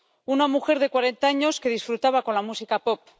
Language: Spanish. Una mujer de cuarenta años que disfrutaba con la música pop.